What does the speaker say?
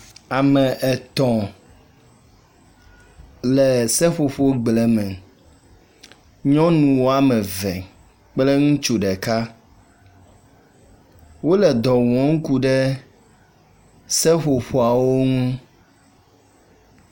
Ame etɔ̃ le seƒoƒo gble me. Nyɔnu woameve kple ŋutsu ɖeka. Wole dɔ wɔm ku ɖe seƒoƒoawo ŋu